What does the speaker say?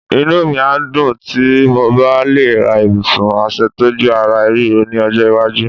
Inú mi a dùn tí mo bá le ra ibùsùn aṣètọ́jú ara ríro ní ọjọ́ iwájú.